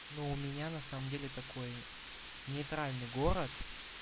но у меня на самом деле такой нейтральный город